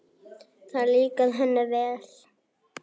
Það líkaði henni vel.